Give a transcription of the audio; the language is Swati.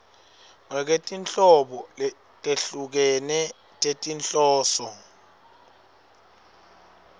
ngekwetinhlobo letehlukene tetinhloso